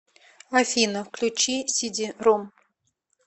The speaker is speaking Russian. афина включи сиди ром